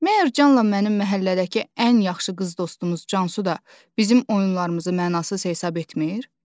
Məyər Canla mənim məhəllədəki ən yaxşı qız dostumuz Cansu da bizim oyunlarımızı mənasız hesab etmir?